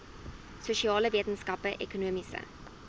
sosiale wetenskappe ekonomiese